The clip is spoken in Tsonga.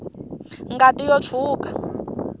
ngati yo tshwuka